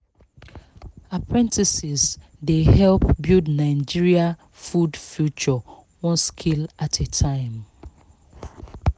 apprentices dey help build nigeria food future one skill at a time